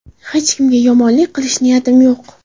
Hech kimga yomonlik qilish niyatim yo‘q.